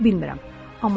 Dəqiq bilmirəm.